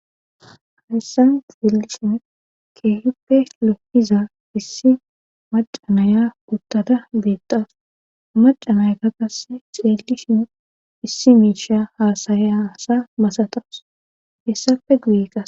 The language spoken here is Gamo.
Hsysan xelishin kehippe lo'iza issi maca naya uttada betawus maca nayakw qase xelishin issi misha hasayiza asa masatawus hesappe guye qase